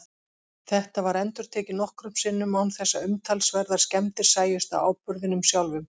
Þetta var endurtekið nokkrum sinnum án þess að umtalsverðar skemmdir sæjust á áburðinum sjálfum.